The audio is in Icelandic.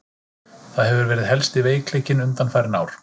Það hefur verið helsti veikleikinn undanfarin ár.